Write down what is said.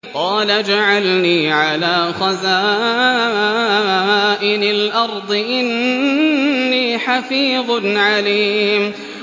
قَالَ اجْعَلْنِي عَلَىٰ خَزَائِنِ الْأَرْضِ ۖ إِنِّي حَفِيظٌ عَلِيمٌ